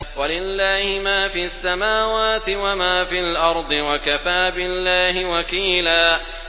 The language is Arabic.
وَلِلَّهِ مَا فِي السَّمَاوَاتِ وَمَا فِي الْأَرْضِ ۚ وَكَفَىٰ بِاللَّهِ وَكِيلًا